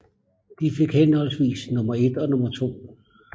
De fik henholdsvis nummer 1 og 2